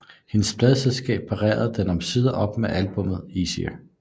Hendes pladeselskab parrede den omsider op med albummet Easier